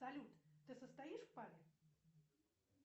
салют ты состоишь в паре